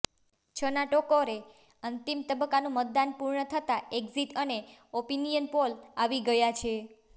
છના ટકોરે અંતિમ તબક્કાનું મતદાન પૂર્ણ થતાં એક્ઝિટ અને ઓપિનિયન પોલ આવી ગયા છે